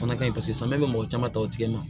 Fana ka ɲi paseke samiya bɛ mɔgɔ caman ta o tigi ma